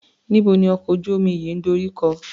Níbo ni ọkọ̀ ojú-omi yìí ń dorí kọ?